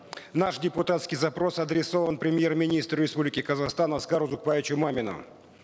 наш депутатский запрос адресован премьер министру республики казахстан аскару узакбаевичу мамину